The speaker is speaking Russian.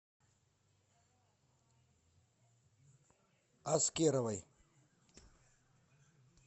аскеровой